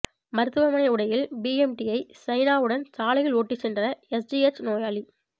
மருத்துவமனை உடையில் பிஎம்டியை சைனாடவுன் சாலையில் ஓட்டிச் சென்ற எஸ்ஜிஎச் நோயாளி